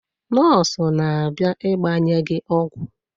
Nọọsụ na-abịa ịgbanye gị ọgwụ.